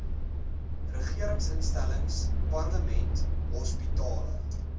regeringsinstellings parlement hospitale